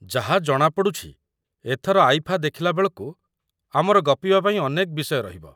ଯାହା ଜଣା ପଡ଼ୁଛି ଏଥର ଆଇଫା ଦେଖିଲା ବେଳକୁ ଆମର ଗପିବା ପାଇଁ ଅନେକ ବିଷୟ ରହିବ।